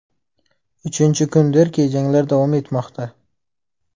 Uchinchi kundirki janglar davom etmoqda.